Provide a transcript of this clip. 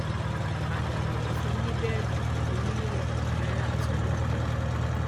àdàbàyò fún un ní bẹẹlí pẹlú mílíọnù kan náírà àti onídùúró kan